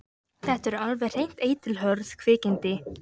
Þetta eru alveg hreint eitilhörð kvikindi.